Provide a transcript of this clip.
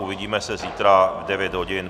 Uvidíme se zítra v 9 hodin.